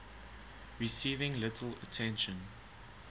received little attention